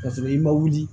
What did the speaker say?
Ka sɔrɔ i ma wuli